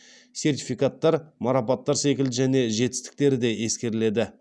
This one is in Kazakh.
сертификаттар марапаттар секілді жеке жетістіктер де ескеріледі